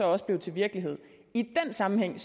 også blev til virkelighed i den sammenhæng